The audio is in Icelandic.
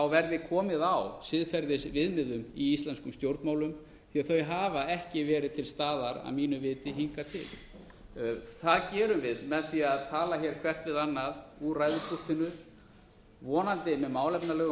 verði komið á siðferðisviðmiðum í íslenskum stjórnmálum því þau hafa ekki verið til staðar að mínu viti hingað til það gerum við með því að tala hér hvert við annað úr ræðupúltinu vonandi með málefnalegum